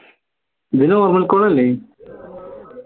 ഇത് normal call അല്ലേ